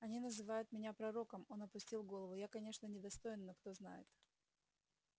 они называют меня пророком он опустил голову я конечно недостоин но кто знает